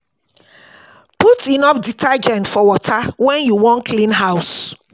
Put enough detergent for water wen water wen you wan clean house